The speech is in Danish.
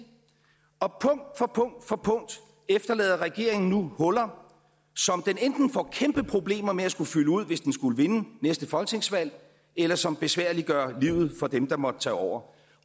og punkt for punkt for punkt efterlader regeringen nu huller som den enten får kæmpe problemer med at skulle fylde ud hvis den skulle vinde næste folketingsvalg eller som besværliggør livet for dem der måtte tage over